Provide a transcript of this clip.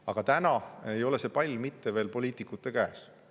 Aga täna ei ole see pall mitte veel poliitikute käes.